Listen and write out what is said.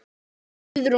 Amma mín Guðrún.